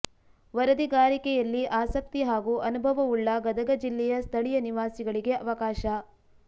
ವರದಿಗಾರಿಕೆಯಲ್ಲಿ ಆಸಕ್ತಿ ಹಾಗೂ ಅನುಭವವುಳ್ಳ ಗದಗ ಜಿಲ್ಲೆಯ ಸ್ಥಳೀಯ ನಿವಾಸಿಗಳಿಗೆ ಅವಕಾಶ